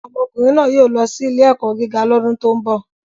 Ọmọkùnrin náà yóò lọ sí ilé-ẹ̀kọ́ gíga lọ́dún tó ń bọ̀.